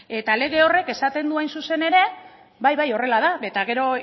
eta lege horrek esaten du hain zuzen ere bai bai horrela da eta gero